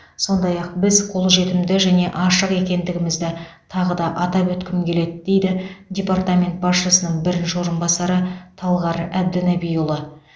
сондай ақ біз қолжетімді және ашық екендігімізді тағы да атап өткім келеді дейді департамент басшысының бірінші орынбасары талғар әбдінәбиұлы